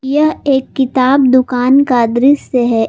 यह एक किताब दुकान का दृश्य है।